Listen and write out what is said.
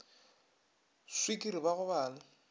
swikiri ba go ba le